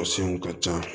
ka can